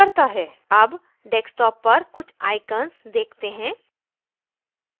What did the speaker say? अब desktop पर कुछ icons देखते हैं